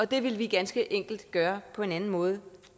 det ville vi ganske enkelt gøre på en anden måde